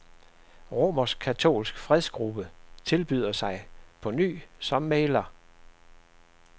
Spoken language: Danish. Romerskkatolsk fredsgruppe tilbyder sig på ny som mægler.